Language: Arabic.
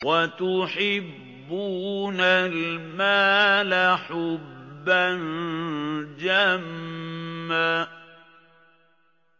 وَتُحِبُّونَ الْمَالَ حُبًّا جَمًّا